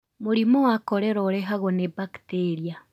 Mũrimũ wa korera ũrehagwo nĩ bakteria.